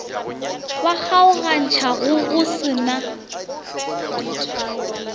ba kgaogantšhago go sa na